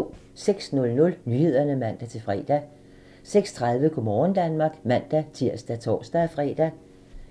06:00: Nyhederne (man-fre) 06:30: Go' morgen Danmark (man-tir og tor-fre)